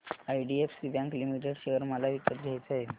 IDFC bank limited share मला विकत घ्यायचे आहेत